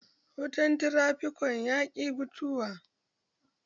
Wutan tirafikaton ya ki mutuwa